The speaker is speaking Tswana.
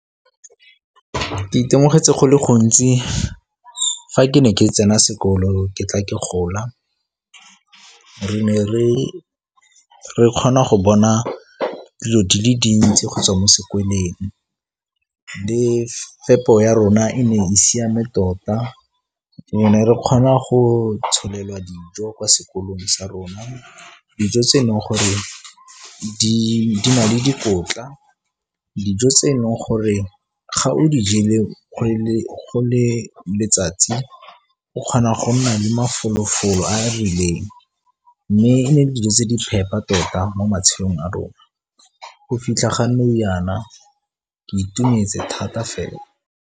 Ke itemogetse go le gontsi fa ke ne ke tsena sekolo ke tla ke gola. Re ne re kgona go bona dilo di le dintsi kgotsa mo sekweleng le fepo ya rona e ne e siame tota. Re ne re kgona go tsholelwa dijo kwa sekolong sa rona, dijo tse e leng gore di na le dikotla dijo tse e leng gore ga o di jele go le letsatsi o kgona go nna le mafolo-folo a a rileng mme e ne e le dijo tse di phepa tota mo matshelong a rona. Go fitlha ga nou yana ke itumetse thata fela.